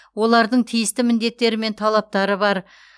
олардың тиісті міндеттері мен талаптары бар